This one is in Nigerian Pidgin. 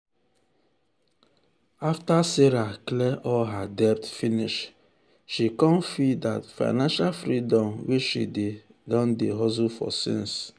after sarah clear all her debt finish she con feel that financial freedom wey she don dey hustle for since.